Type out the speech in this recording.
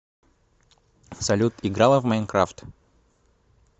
салют играла в майнкрафт